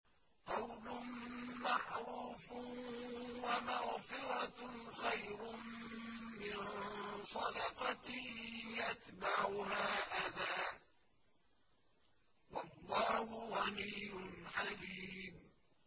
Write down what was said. ۞ قَوْلٌ مَّعْرُوفٌ وَمَغْفِرَةٌ خَيْرٌ مِّن صَدَقَةٍ يَتْبَعُهَا أَذًى ۗ وَاللَّهُ غَنِيٌّ حَلِيمٌ